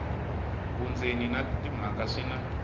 vundzeni na timhaka swi na